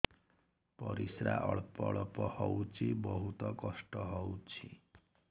ପରିଶ୍ରା ଅଳ୍ପ ଅଳ୍ପ ହଉଚି ବହୁତ କଷ୍ଟ ହଉଚି